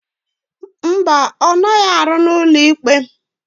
Mba, ọ naghị arụ n'ụlọikpe.